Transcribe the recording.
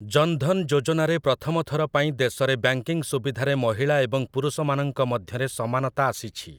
ଜନ୍ ଧନ୍ ଯୋଜନାରେ ପ୍ରଥମ ଥର ପାଇଁ ଦେଶରେ ବ୍ୟାଙ୍କିଙ୍ଗ ସୁବିଧାରେ ମହିଳା ଏବଂ ପୁରୁଷମାନଙ୍କ ମଧ୍ୟରେ ସମାନତା ଆାସିଛି ।